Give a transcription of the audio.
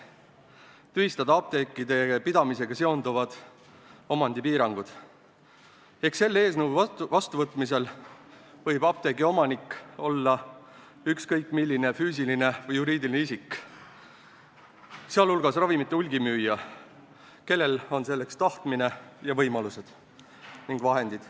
Üks neist on tühistada apteekide pidamisega seonduvad omandipiirangud ehk selle eelnõu vastuvõtmise korral võib apteegi omanikuks olla ükskõik milline füüsiline või juriidiline isik, sh ravimite hulgimüüja, kellel on selleks tahtmine ning võimalused ja vahendid.